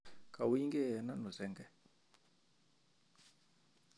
Kawinyke eng ano sen'ge?